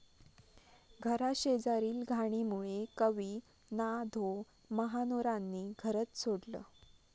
घराशेजारील घाणीमुळे कवी ना.धो.महानोरांनी घरंच सोडलं